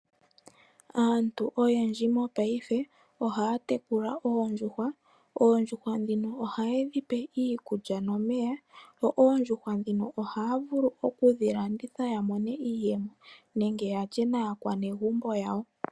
Aantu oyendji mopaife ohaya tekula oondjuhwa. Oondjuhwa ndhino ohaye dhi pe iikulya nomeya. Yo oondjuhwa dhino ohaya vulu okudhi landitha ya mone iiyemo nenge yalye naanegumbo yawo.